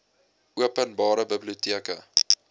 open bare biblioteke